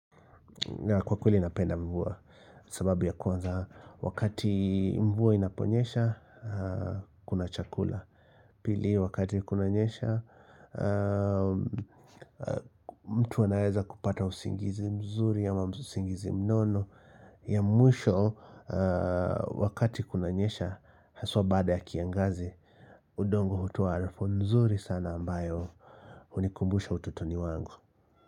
Kwa kweli napenda mvua sababu ya kwanza wakati mvua inaponyesha kuna chakula. Pili wakati kuna nyesha mtu anaeza kupata usingizi mzuri ama usingizi mnono ya mwisho wakati kuna nyesha haswa bada ya kiangazi. Udongo hutua harufu nzuri sana ambayo unikumbusha utotoni wangu.